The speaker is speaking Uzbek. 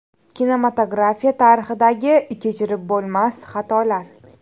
Kinematografiya tarixidagi kechirib bo‘lmas xatolar .